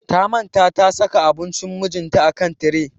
Ta manta ta saka abunci mijinta a kan tire.